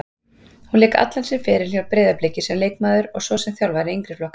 Hún lék allan sinn feril hjá Breiðabliki sem leikmaður og svo sem þjálfari yngri flokka.